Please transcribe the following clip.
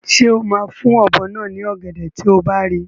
Ṣé o máa fún ọ̀bọ náà ní ọ̀gẹ̀dẹ̀ tí o bá rí i?